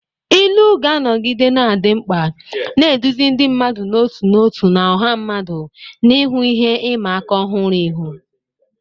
Ilu ga-anọgide na-adị mkpa, na-eduzi ndị mmadụ n'otu n'otu na ọha mmadụ n'ihu ihe ịma aka ọhụrụ ihu.